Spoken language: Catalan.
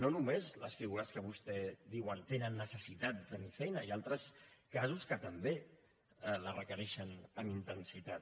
no només les figures que vostès diuen tenen necessitat de tenir feina hi ha altres casos que també la requereixen amb intensitat